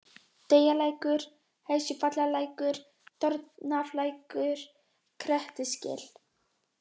Teigalækur, Hesjuvallalækur, Torfnalækur, Grettisgil